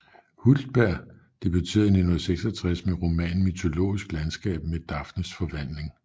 Hultberg debuterede i 1966 med romanen Mytologisk landskab med Daphnes forvandling